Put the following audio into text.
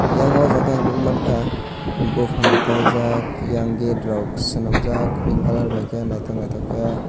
yang oh jaga ang nukmankha buphang rok kaijak yang gate rok swnamjak pink colour bai khe naithok naithok khe.